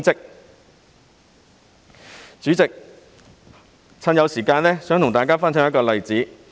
代理主席，既然尚有時間，我想跟大家分享一個例子。